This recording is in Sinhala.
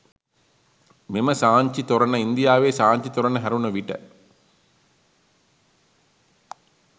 මෙම සාංචි තොරණ ඉන්දියාවේ සාංචි තොරණ හැරුණ විට